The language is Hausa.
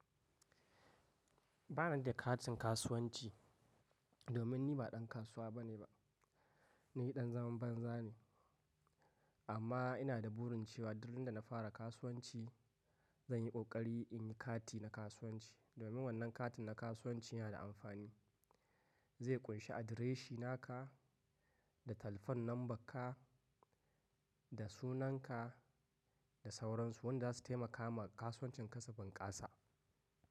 Ba ni da katin kasuwanci domin ni ba dan kasuwa bane ba, ni dan zaman banza ne. Amma ina da burin cewa duk daren da na fara kasuwanci zan yi kokari in yi kati na kasuwanci. Domin wannan katin na kasuwanci yana da amfani, zai kunshi adireshin naka da telephone lambar ka da sunan ka da sauran su wanda za su taimaka ma kasuwancin ka su bunƙasa.